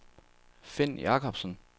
Finn Jakobsen